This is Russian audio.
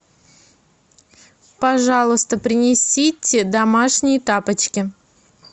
пожалуйста принесите домашние тапочки